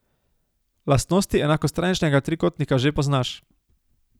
Lastnosti enakostraničnega trikotnika že poznaš.